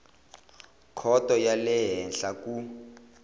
khoto ya le henhla ku